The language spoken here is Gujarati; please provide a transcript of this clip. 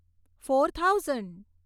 four thousand